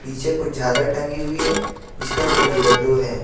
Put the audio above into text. इसे कुछ झारल टंगी हुई है जिसका कलर येलो है।